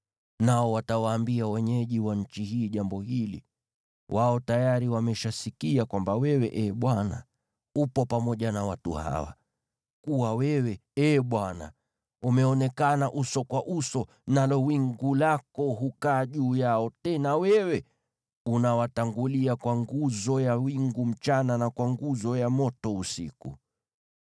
Nao watawaambia wenyeji wa nchi hii jambo hili. Wao tayari wameshasikia kwamba wewe, Ee Bwana , upo pamoja na watu hawa, na kuwa wewe, Ee Bwana , umeonekana uso kwa uso, nalo wingu lako hukaa juu yao. Tena wewe unawatangulia kwa nguzo ya wingu mchana na kwa nguzo ya moto usiku.